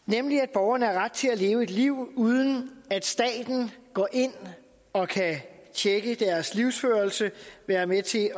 borgerne har ret til at leve et liv uden at staten går ind og kan tjekke deres livsførelse være med til at